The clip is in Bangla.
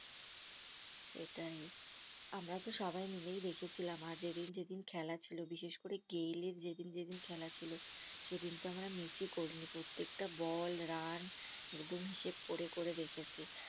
সেটাই আমরাতো সবাই মিলেই দেখেছিলাম আর যেদিন যেদিন খেলা ছিল বিশেষ করে গেইলের যেদিন যেদিন খেলা ছিল সেদিন তো আমরা miss ই করিনি প্রত্যেকটা বল রান একদম হিসেবে করে করে দেখেছি